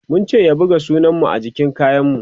mun ce ya buga sunan mu jikin kayan mu